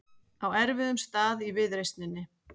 Á erfiðum stað í viðreisninni